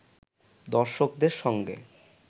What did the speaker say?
দর্শকদের সঙ্গে